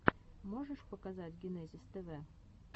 можешь показать генезис тв